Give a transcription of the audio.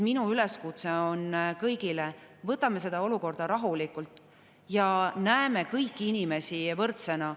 Minu üleskutse kõigile on: võtame seda olukorda rahulikult ja näeme kõiki inimesi võrdsena.